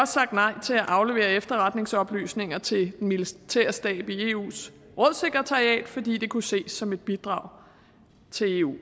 sagt nej til at aflevere efterretningsoplysninger til militærstaben i eus rådssekretariat fordi det kunne ses som et bidrag til eu